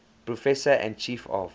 professor and chief of